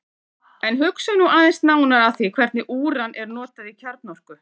En hugum nú aðeins nánar að því hvernig úran er notað í kjarnorku.